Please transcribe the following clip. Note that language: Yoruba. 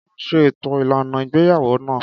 Kọ́lá ṣe ètò ìlànà ìgbéyàwó náà.